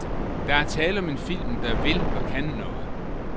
Der er tale om en film, der vil og kan noget.